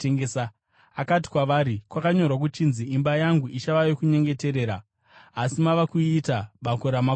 Akati kwavari, “Kwakanyorwa kuchinzi, ‘Imba yangu ichava yokunyengeterera’, asi mava kuiita ‘bako ramakororo.’ ”